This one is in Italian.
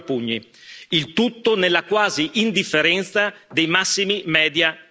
Il tutto nella quasi indifferenza dei massimi media italiani.